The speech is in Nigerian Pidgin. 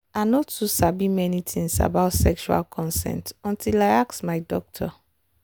i no too sabi many things about sexual consent until i ask my doctor.